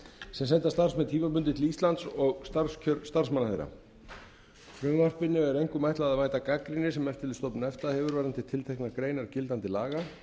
sem senda starfsmenn tímabundið til íslands og starfskjör starfsmanna þeirra frumvarpinu er einkum ætlað að mælta gagnrýni sem eftirlitsstofnun efta hefur varðandi tilteknar greinar gildandi laga